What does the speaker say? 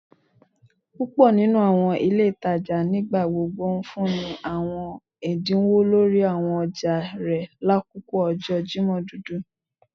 Púpò nínú àwọn ilé ìtajà nigbagbogbo ńfúnni ní àwọn ẹdínwó lórí àwọn ọjà rẹ lakoko ọjọ Jimọ dudu